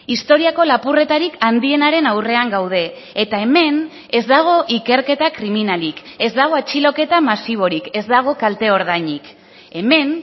historiako lapurretarik handienaren aurrean gaude eta hemen ez dago ikerketa kriminalik ez dago atxiloketa masiborik ez dago kalte ordainik hemen